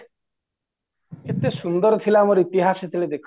କେତେ ସୁନ୍ଦର ଥିଲା ଆମର ଇତିହାସ ସେତେବେଳେ ଦେଖା